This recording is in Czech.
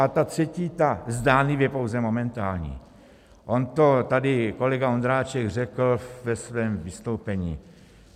A ta třetí, ta zdánlivě pouze momentální, on to tady kolega Ondráček řekl ve svém vystoupení.